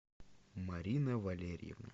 марина валерьевна